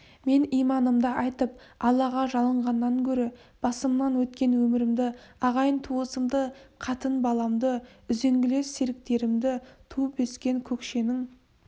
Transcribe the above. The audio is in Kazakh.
мен иманымды айтып аллаға жалынғаннан гөрі басымнан өткен өмірімді ағайын-туысымды қатын-баламды үзеңгілес серіктерімді туып өскен көкшенің